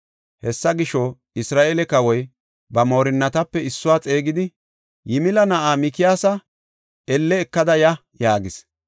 Hessa gisho, Isra7eele kawoy ba moorinatape issuwa xeegidi, “Yimila na7aa Mikiyaasa elle ekada ya” yaagis.